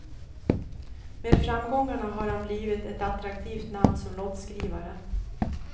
Med framgångarna har han blivit ett attraktivt namn som låtskrivare.